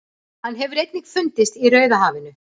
Hann hefur einnig fundist í Rauðahafinu.